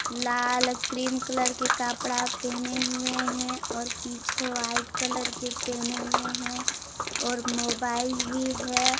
लाल cream colour के कपड़ा पहने हुए हैं और पीछे का व्हाइट कलर के पहने हुए हैं और मोबाइल भी है।